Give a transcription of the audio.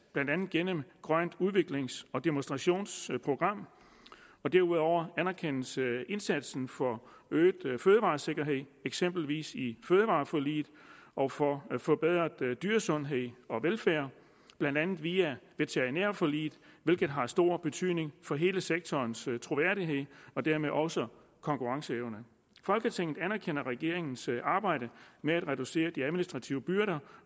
blandt andet gennem grønt udviklings og demonstrationsprogram derudover anerkendes indsatsen for øget fødevaresikkerhed eksempelvis i fødevareforliget og for forbedret dyresundhed og velfærd blandt andet via veterinærforliget hvilket har stor betydning for hele sektorens troværdighed og dermed også konkurrenceevne folketinget anerkender regeringens arbejde med at reducere de administrative byrder